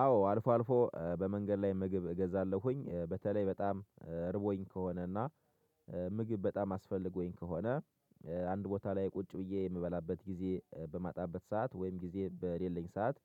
አዎ አልፎ አልፎ በመንገድ ላይ ምግብ እገዛለሁኝ በተለይ በጣም ርቦኝ ከሆነና ምግብ በጣም አስፈልጎኝ ከሆነ አንድ ቦታ ላይ ቁጭ ብዬ የምበላበት ጊዜ በማጣበት ሰዓት ወይም ጊዜ በሌለኝ ሰዓት።